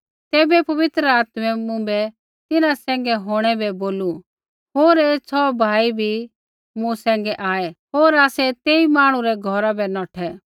तैबै पवित्र आत्मै मुँभै तिन्हां सैंघै होंणै बै बोलू होर ऐ छ़ौह भाई बी मूँ सैंघै आऐ होर आसै तेई मांहणु रै घौरा बै नौठै